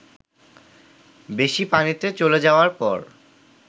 বেশি পানিতে চলে যাওয়ার পর